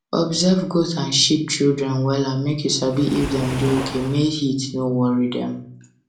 observe goat and sheep children wella make you sabi if dem da okay make heat no worry dem